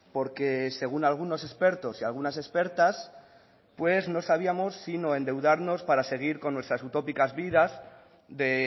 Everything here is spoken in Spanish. porque según algunos expertos y algunas expertas pues no sabíamos sino endeudarnos para seguir con nuestra utópicas vidas de